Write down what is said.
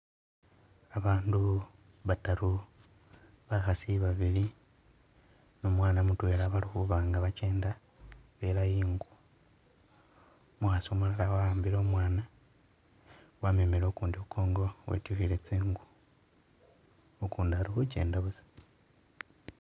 Babandu bataru bakhaasi babili numwaana mutwela bali khuba'nga bachenda bela'ingo umukhaasi umulala wa'ambile owmana, wamemile ukundi khukongo wetyukhile tsingu ukundi ali khuchenda busa